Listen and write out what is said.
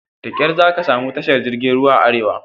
Da ƙar zaka samu tashar jirgin ruwan a arewa.